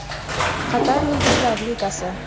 Qatar Yulduzlar Ligasi.